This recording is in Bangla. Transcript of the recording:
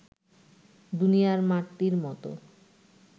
দুনিয়ার মাটির মত